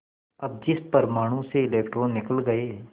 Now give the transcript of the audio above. अब जिस परमाणु से इलेक्ट्रॉन निकल गए